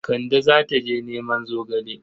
Kande za ta je neman zogale.